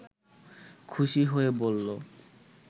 খুশি হয়ে বলল